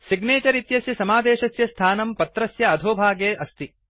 signature इत्यस्य समादेशस्य स्थानं पत्रस्य अधोभागे अस्ति